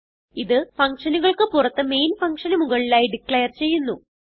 ഇത് functionനുകൾക്ക് പുറത്ത് മെയിൻ funcionന് മുകളിലായി ഡിക്ലേർ ചെയ്യുന്നു